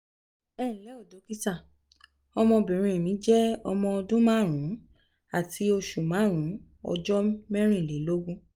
ẹ ǹlẹ́ dókítà ọmọbìnrin mi je omo ọdún márùn-ún àti oṣù márùn-ún ọjọ́ mẹ́rìnlélógún